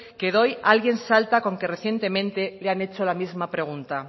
que doy alguien salta con que recientemente le han hecho la misma pregunta